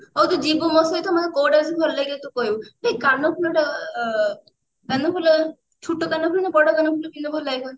ଆଉ ତୁ ଯିବୁ ମୋ ସହିତ ମୁଁ କୂଆଉ dress ଭଲ ଲାଗିବ ତୁ କହିବୁ ଏଇ କାନଫୁଲ ଟା ଅ କାନଫୁଲ ଛୋଟ କାନଫୁଲ ନା ବଡ କାନଫୁଲ ପିନ୍ଧିଲେ ଭଲ ଲାଗିବ